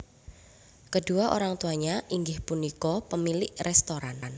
Kedua orang tuanya inggih punika pemilik restoran